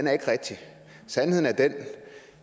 er ikke rigtig sandheden er den